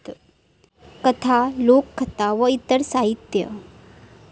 कथा, लोककथा व इतर साहित्य